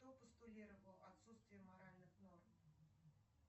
кто постулировал отсутствие моральных норм